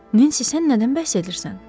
Nensi, sən nədən bəhs edirsən?